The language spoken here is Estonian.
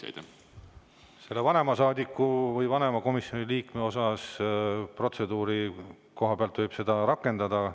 Selle vanema saadiku või vanema komisjoni liikme kohta ütlen, et protseduuri koha pealt võib seda rakendada.